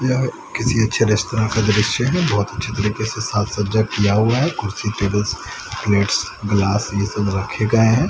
किसी अच्छे तरह का दृश्य है बहुत अच्छे तरीके से साथ सज्जा किया हुआ है कुर्सी टेबल्स प्लेट्स ग्लास ये सब रखे गए हैं।